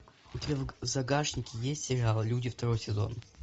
у тебя в загашнике есть сериал люди второй сезон